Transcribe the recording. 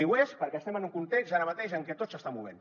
i ho és perquè estem en un context ara mateix en què tot s’està movent